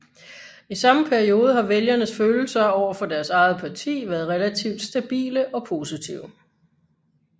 I samme periode har vælgernes følelser over for deres eget parti været relativt stabile og positive